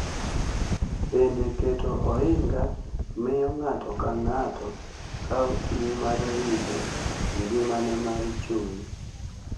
Bende, keto ohinga miyo ng’ato ka ng’ato kawo ting’ mar rito ngimane mar chuny.